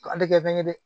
A tɛ kɛ bɛngɛn ye dɛ